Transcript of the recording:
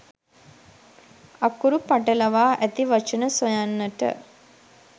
අකුරු පටලවා ඇති වචන සොයන්නට